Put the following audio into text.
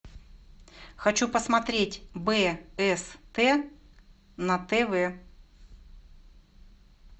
хочу посмотреть бст на тв